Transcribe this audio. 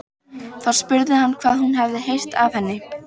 Þá spurði hann hvað hún hefði heyrt af henni.